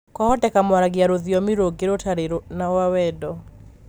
Kwavoteka mwaragia rũthiomi rũngĩ 'rũtarĩ rwa wendo.'